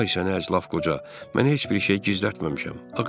Ay sənə əzlv qoca, mən heç bir şey gizlətməmişəm.